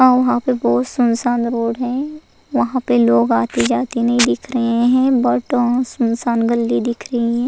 हां वहां पर बहुत सुनसान रोड है वहां पर लोग आते जाते नहीं दिख रहे हैं बट अ सुनसान गल्ली दिख रही है।